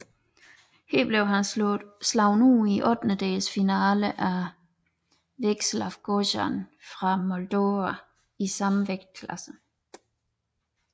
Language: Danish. Her blev han slået ud i ottendelsfinalen af Veaceslav Gojan fra Moldova i samme vægtklasse